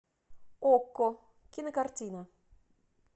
окко кинокартина